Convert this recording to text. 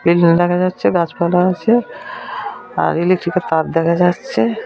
একজন দেখা যাচ্ছে গাছ পালা আছে আর ইলেকট্রিক -এর তার দেখা যাচ্ছে ।